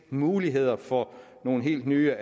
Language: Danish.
muligheder for nogle helt nye